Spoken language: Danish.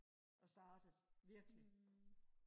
og startet virkelig